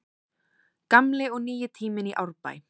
Gamli og nýi tíminn í Árbæ